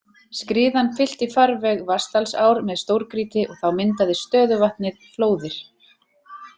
Skriðan fyllti farveg Vatnsdalsár með stórgrýti og þá myndaðist stöðuvatnið Flóðið.